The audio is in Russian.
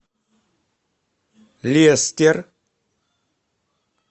лестер